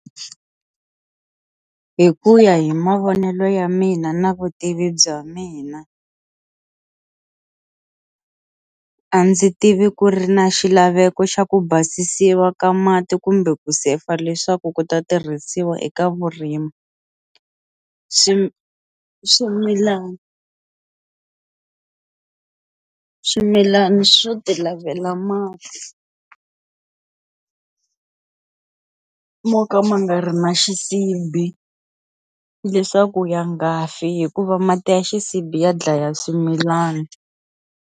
Hi ku ya hi mavonelo ya mina na vutivi bya mina a ndzi tivi ku ri na xilaveko xa ku basisiwa ka mati kumbe ku sefa leswaku ku ta tirhisiwa eka vurimi, swi swimilana swimilana swo ti lavela mati mo ka ma nga ri na xisibi leswaku ya ngafi hikuva mati ya xisibi ya dlaya swimilana.